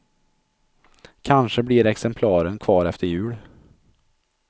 Kanske blir exemplaren kvar efter jul.